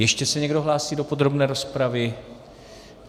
Ještě se někdo hlásí do podrobné rozpravy?